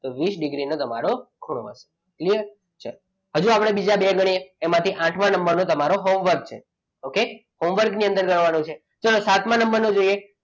તો વીસ ડિગ્રી નો તમારો ખૂણો હોય હજુ આપણે બીજા બે કરીએ તેમાંથી આઠમા નંબરનો તમારો હોમવર્ક છે okay હોમવર્ક ની અંદર કરવાનું છે ચલો સાતમા નંબરનું જોઈએ.